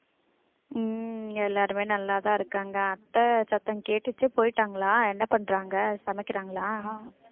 உம் எல்லாருமே நல்லாதான் இருக்காங்க அத்தை சத்தம் கேட்டுச்சு போயிட்டாங்களாம் என்ன பண்றாங்க சமைக்கிறாங்களா